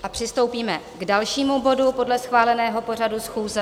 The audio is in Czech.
A přistoupíme k dalšímu bodu podle schváleného pořadu schůze.